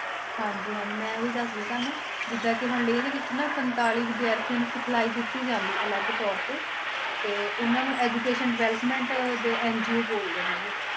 ਹਾਂਜੀ ਹਾਂਜੀ ਮੈਂ ਉਹੀ ਦੱਸ ਰਹੀ ਤੁਹਾਨੂੰ, ਜਿੱਦਾਂ ਕਿ ਹੁਣ ਲੇਹ ਦੇ ਵਿੱਚ ਨਾ ਸੰਤਾਲੀ ਵਿਦਿਆਰਥੀਆਂ ਨੂੰ ਸਿਖਲਾਈ ਦਿੱਤੀ ਜਾਂਦੀ ਆ ਅਲੱਗ ਤੌਰ ਤੇ, ਤੇ ਉਹਨਾਂ ਨੂੰ education development ਦੇ NGO ਬੋਲਦੇ ਨੇ ਗੇ,